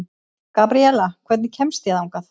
Gabriela, hvernig kemst ég þangað?